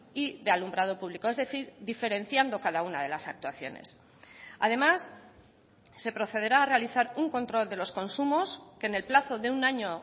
y de alumbrado público es decir diferenciando cada una de las actuaciones además se procederá a realizar un control de los consumos que en el plazo de un año